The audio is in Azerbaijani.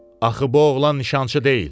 Axı bu oğlan nişançı deyil.